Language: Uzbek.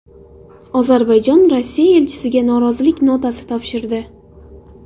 Ozarbayjon Rossiya elchisiga norozilik notasi topshirdi.